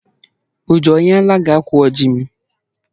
Uju o nyela gi ákwà oji m?